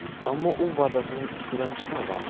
ammo u va’dasining ustidan chiqmagan.